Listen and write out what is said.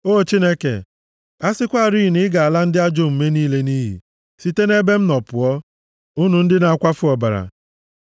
O Chineke, a sịkwarị na ị ga-ala ndị ajọ omume niile nʼiyi! Sitenụ nʼebe m nọ pụọ, unu ndị na-akwafu ọbara!